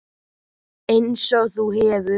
Einsog þú hefur.